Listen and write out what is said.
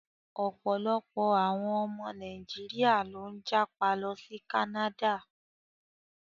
Ọ̀pọ̀lọpọ̀ àwọn ọmọ Nàíjíríà ló ń jápa lọ sí Canada.